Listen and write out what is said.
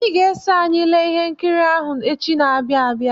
Ị ga-eso anyị ele ihe nkiri ahụ echi na-abịa abịa.